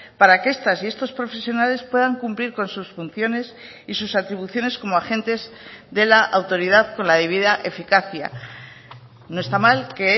para que estas y estos profesionales puedan cumplir con sus funciones y sus atribuciones como agentes de la autoridad con la debida eficacia no está mal que